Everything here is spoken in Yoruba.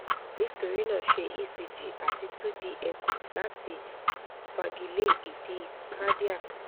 nitorina ṣe ecg ati 2d echo lati fagile idi cardiac